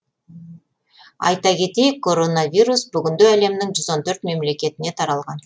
айта кетейік коронавирус бүгінде әлемнің жүз он төрт мемлекетіне таралған